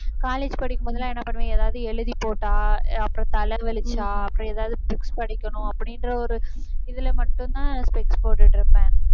college படிக்கும் போதெல்லாம் என்ன பண்ணுவேன்? ஏதாவது எழுதி போட்டா அப்புறம் தலை வலிச்சா அப்புறம் எதாவது books படிக்கணும் அப்படின்ற ஒரு இதுல மட்டும்தான் specs போட்டுட்டிருப்பேன்.